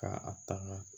Ka a taŋaa